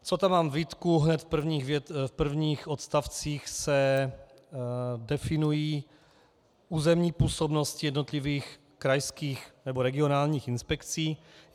Co tam mám výtku, hned v prvních odstavcích se definují územní působnosti jednotlivých krajských nebo regionálních inspekcí.